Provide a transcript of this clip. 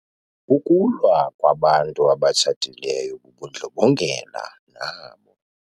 Ukulwa kwabantu abatshatileyo bubundlobongela nabo.